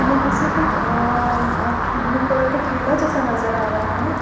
यहां से अ कुछ ब्लू कलर का ठेला जैसा नजर आ रहा है।